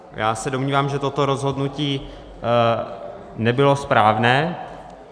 Já se domnívám, že toto rozhodnutí nebylo správné.